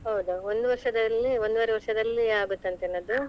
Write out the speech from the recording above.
ಹೌದಾ ಒಂದು ವರ್ಷದಲ್ಲಿ, ಒಂದುವರೆ ವರ್ಷದಲ್ಲಿ ಆಗತ್ತಂತೇನ ಅದು?